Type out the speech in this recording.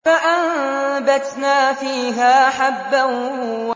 فَأَنبَتْنَا فِيهَا حَبًّا